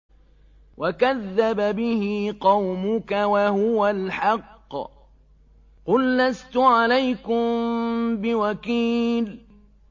وَكَذَّبَ بِهِ قَوْمُكَ وَهُوَ الْحَقُّ ۚ قُل لَّسْتُ عَلَيْكُم بِوَكِيلٍ